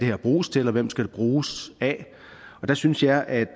bruges til og hvem det skal bruges af og der synes jeg at